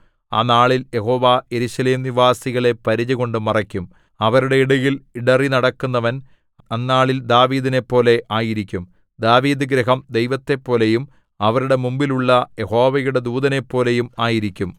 ആ നാളിൽ യഹോവ യെരൂശലേം നിവാസികളെ പരിചകൊണ്ട് മറയ്ക്കും അവരുടെ ഇടയിൽ ഇടറിനടക്കുന്നവൻ അന്നാളിൽ ദാവീദിനെപ്പോലെ ആയിരിക്കും ദാവീദുഗൃഹം ദൈവത്തെപ്പോലെയും അവരുടെ മുമ്പിലുള്ള യഹോവയുടെ ദൂതനെപ്പോലെയും ആയിരിക്കും